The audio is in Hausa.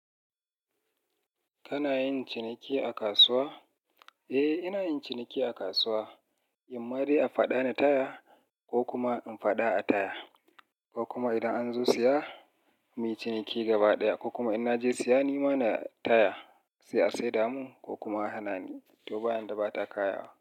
Kana yin ciniki a kasuwa? Eh, ina yin ciniki a kasuwa. Imma dai a faɗa ni taya ko kuma in faɗa a taya, ko kuma idan an zo siya mi ciniki gaba ɗaya ko kuma in naje siya ni ma na taya sai a saida mun ko kuma a hana ni, to ba yadda bata kayawa.